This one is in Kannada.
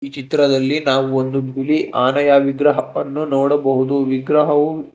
ಚಿತ್ರದಲ್ಲಿ ನಾವು ಬಂದು ಬುಲಿ ಆನೆಯ ವಿಗ್ರಹವನ್ನು ನೋಡಬಹುದು ವಿಗ್ರಹವು --